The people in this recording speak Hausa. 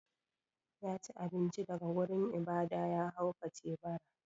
Ya ci abinci daga wurin ibada, ya haukace bara.